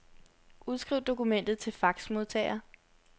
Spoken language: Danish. Udskriv dokumentet til faxmodtager.